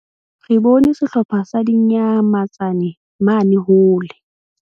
Re bone sehlopha sa dinyamatsane mane hole.